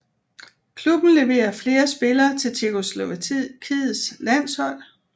Klubben levere flere spillere til Tjekkoslovakiets landshold